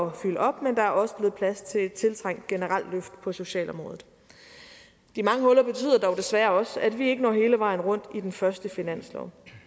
at fylde op men der er også blevet plads til et tiltrængt generelt løft på socialområdet de mange huller betyder dog desværre også at vi ikke når hele vejen rundt i den første finanslov